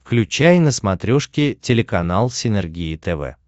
включай на смотрешке телеканал синергия тв